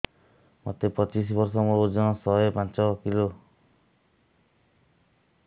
ମୋତେ ପଚିଶି ବର୍ଷ ମୋର ଓଜନ ଶହେ ପାଞ୍ଚ କିଲୋ